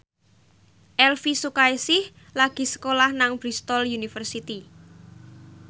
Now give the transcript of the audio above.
Elvy Sukaesih lagi sekolah nang Bristol university